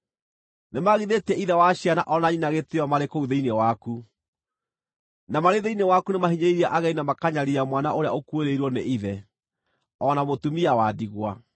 Nĩmagithĩtie ithe wa ciana o na nyina gĩtĩĩo marĩ kũu thĩinĩ waku; na marĩ thĩinĩ waku nĩmahinyĩrĩirie ageni na makanyariira mwana ũrĩa ũkuĩrĩirwo nĩ ithe, o na mũtumia wa ndigwa.